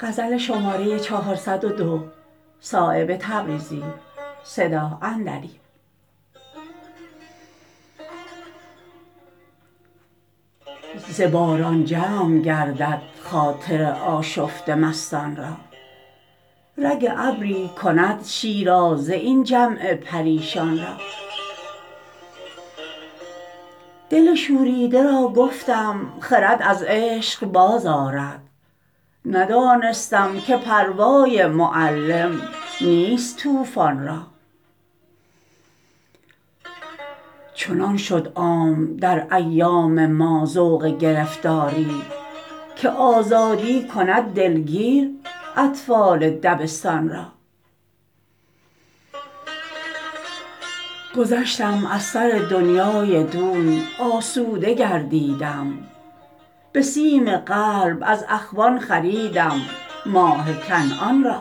ز باران جمع گردد خاطر آشفته مستان را رگ ابری کند شیرازه این جمع پریشان را دل شوریده را گفتم خرد از عشق باز آرد ندانستم که پروای معلم نیست طوفان را چنان شد عام در ایام ما ذوق گرفتاری که آزادی کند دلگیر اطفال دبستان را گذشتم از سر دنیای دون آسوده گردیدم به سیم قلب از اخوان خریدم ماه کنعان را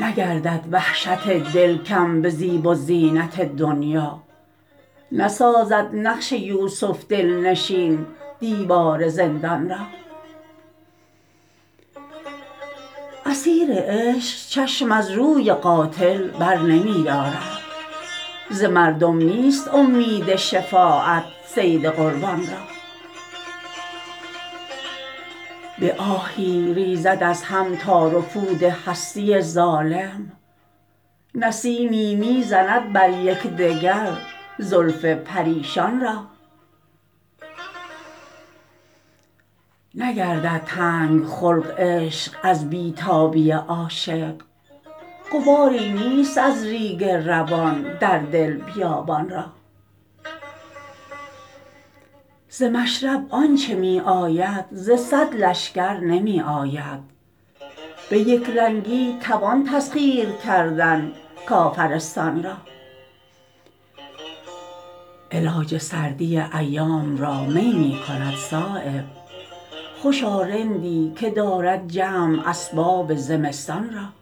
نگردد وحشت دل کم به زیب و زینت دنیا نسازد نقش یوسف دلنشین دیوار زندان را اسیر عشق چشم از روی قاتل برنمی دارد ز مردم نیست امید شفاعت صید قربان را به آهی ریزد از هم تار و پود هستی ظالم نسیمی می زند بر یکدگر زلف پریشان را نگردد تنگ خلق عشق از بی تابی عاشق غباری نیست از ریگ روان در دل بیابان را ز مشرب آنچه می آید ز صد لشکر نمی آید به یکرنگی توان تسخیر کردن کافرستان را علاج سردی ایام را می می کند صایب خوشا رندی که دارد جمع اسباب زمستان را